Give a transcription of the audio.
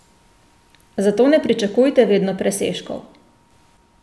Zato ne pričakujte vedno presežkov.